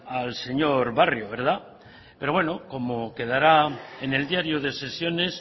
al señor barrio verdad pero bueno como quedará en el diario de sesiones